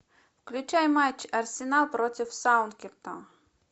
включай матч арсенал против саутгемптона